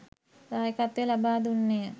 දායකත්වය ලබා දුන්නේ ය.